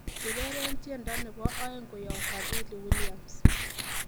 ureren tiendo nebo oeng koyob fadhili williams